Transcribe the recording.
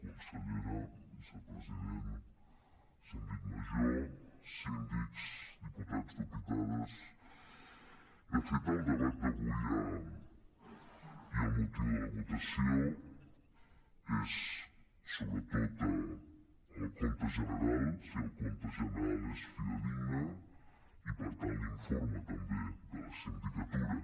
consellera vicepresident síndic major síndics diputats dipu·tades de fet el debat d’avui i el motiu de la votació és sobretot el compte general si el compte general és fidedigne i per tant l’informe també de la sindicatura